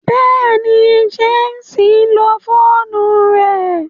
Bẹẹni, James nlo foonu rẹ